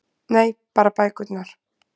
Nei- bara bækurnar